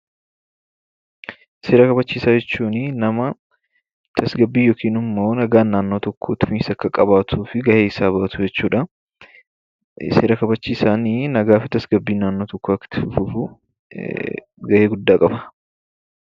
Seera kabachiisaa jechuunii nama tasgabbii yookin immoo nagaan naannoo tokkoo itti fufinsa akka qabaatuuf gaheesaa bahatu jechuudha. Seera kabachiisaanii nagaa fi tasgabbiin naannoo tokkoo akka itti fufuu gahee guddaa qaba.